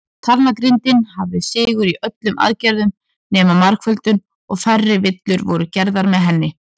Talnagrindin hafði sigur í öllum aðgerðum nema margföldun, og færri villur voru gerðar með henni.